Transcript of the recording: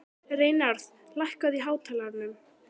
Reynarð, lækkaðu í hátalaranum.